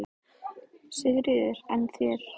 Sigríður: En þér?